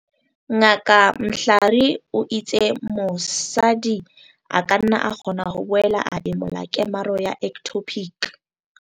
Ngaka Mhlari o itse mo-sadi a ka nna a kgona ho boela a emola kemaro ya ectopic.